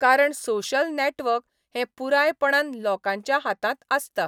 कारण social network हें पुरायपणान लोकांच्या हातांत आसता.